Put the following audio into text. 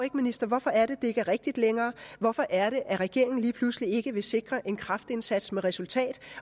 hvorfor det er at det ikke er rigtigt længere hvorfor er det at regeringen lige pludselig ikke vil sikre en kraftindsats med resultat